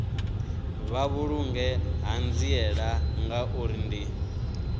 vha vhulunge ṱhanziela ngauri ndi